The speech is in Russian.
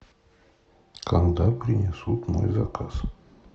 когда принесут мой заказ